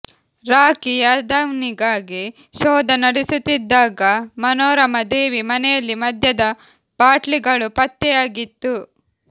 ರಾಕಿ ಯಾದವ್ನಿಗಾಗಿ ಶೋಧ ನಡೆಸುತ್ತಿದ್ದಾಗ ಮನೋರಮಾ ದೇವಿ ಮನೆಯಲ್ಲಿ ಮದ್ಯದ ಬಾಟ್ಲಿಗಳು ಪತ್ತೆಯಾಗಿತ್ತು